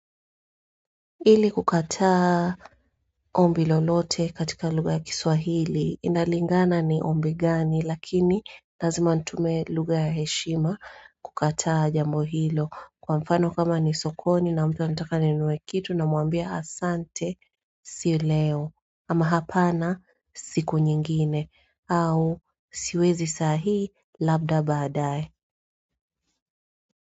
Ili kukataa ombi lolote katika lugha ya kiswahili, inalingana ni ombi gani, lakini lazima nitumie lugha ya heshima kukataa jambo hilo. Kwa mfano, kama ni sokoni na mtu anataka ninunue kitu, namwambia, “Asante, si leo.” Ama hapana siku nyingine au siwezi sahii labda baadae.